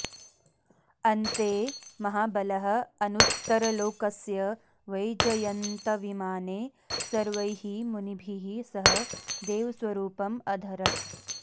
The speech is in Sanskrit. अन्ते महाबलः अनुत्तरलोकस्य वैजयन्तविमाने सर्वैः मुनिभिः सह देवस्वरूपम् अधरत्